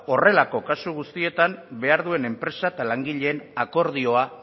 horrelako kasu guztietan behar duen enpresa eta langileen akordioa